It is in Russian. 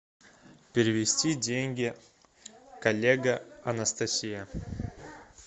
перевести деньги коллега анастасия